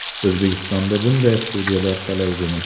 O‘zbekistonda bunday studiyalar talaygina.